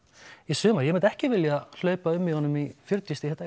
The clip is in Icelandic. sumar ég myndi ekki vilja hlaupa um í honum í fjörutíu stiga